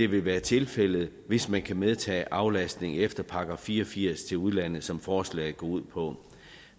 vil være tilfældet hvis man kan medtage aflastning efter § fire og firs til udlandet som forslaget går ud på